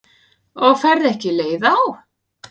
Og færð ekki leið á?